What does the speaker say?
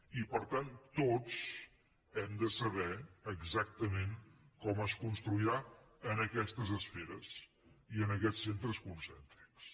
i per tant tots hem de saber exactament com es construirà en aquestes esferes i en aquests centres concèntrics